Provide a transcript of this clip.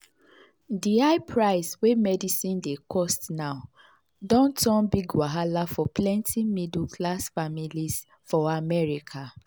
the high price wey medicine dey cost now don turn big wahala for plenty middle class families for america.